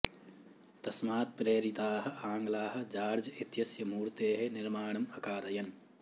तस्मात् प्रेरिताः आङ्ग्लाः जॉर्ज् इत्यस्य मूर्तेः निर्माणम् अकारयन्